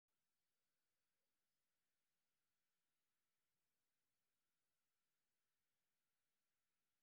Nidaam waxbarasho oo xoog leh ayaa dhisa caasimaddii aqooneed .